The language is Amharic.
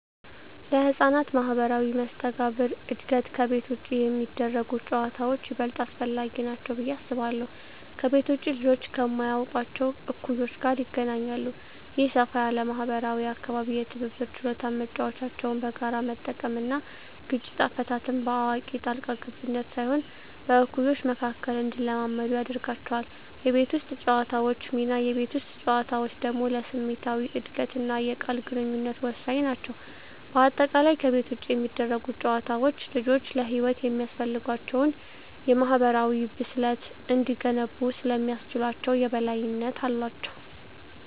ለሕፃናት ማኅበራዊ መስተጋብር እድገት ከቤት ውጭ የሚደረጉ ጨዋታዎች ይበልጥ አስፈላጊ ናቸው ብዬ አስባለሁ። ከቤት ውጭ ልጆች ከማያውቋቸው እኩዮች ጋር ይገናኛሉ። ይህ ሰፋ ያለ ማኅበራዊ አካባቢ የትብብር ችሎታን (መጫወቻዎችን በጋራ መጠቀም) እና ግጭት አፈታትን (በአዋቂ ጣልቃ ገብነት ሳይሆን በእኩዮች መካከል) እንዲለማመዱ ያደርጋቸዋል። የቤት ውስጥ ጨዋታዎች ሚና: የቤት ውስጥ ጨዋታዎች ደግሞ ለስሜታዊ እድገትና የቃል ግንኙነት ወሳኝ ናቸው። በአጠቃላይ፣ ከቤት ውጭ የሚደረጉ ጨዋታዎች ልጆች ለሕይወት የሚያስፈልጋቸውን የማኅበራዊ ብስለት እንዲገነቡ ስለሚያስችላቸው የበላይነት አላቸው።